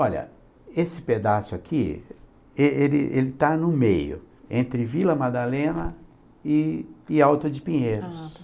Olha, esse pedaço aqui, ele ele ele está no meio, entre Vila Madalena e e Alto de Pinheiros.